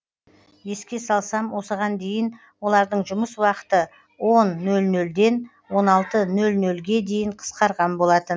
еске салсам осыған дейін олардың жұмыс уақыты он нөл нөлден он алты нөл нөлге дейін қысқарған болатын